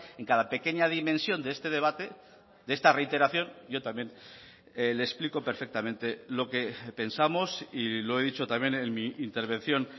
en cada pequeña dimensión de este debate de esta reiteración yo también le explico perfectamente lo que pensamos y lo he dicho también en mi intervención